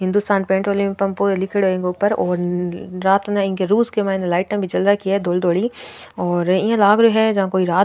Hindustan petrol pump लिखे लीखेड़ो है इंग ऊपर और रात इया लाग रो है जिया कोई रात --